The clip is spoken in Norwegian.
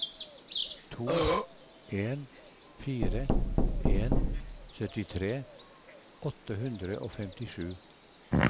to en fire en syttitre åtte hundre og femtisju